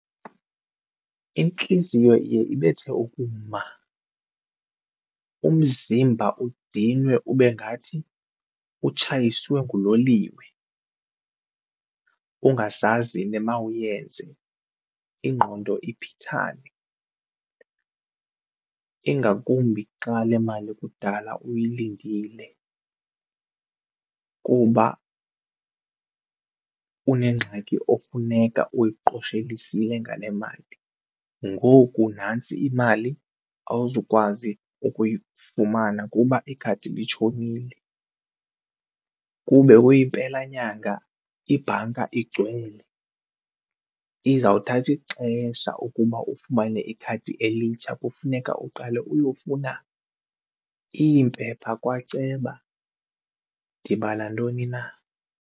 Intliziyo iye ibethe ukuma, umzimba udinwe ube ngathi utshayiswe nguloliwe ungazazi nemawuyenze ingqondo iphithane ingakumbi xa le mali kudala uyilindile kuba unengxaki ofuneka uyiqoshelisile ngale mali. Ngoku nantsi imali awuzukwazi ukuyifumana kuba ikhadi litshonile, kube uyimpela nyanga ibhanka igcwele izawuthatha ixesha ukuba ufumane ikhadi elitsha kufuneka uqale uyofuna iimpepha kwaceba ndibala ntoni na.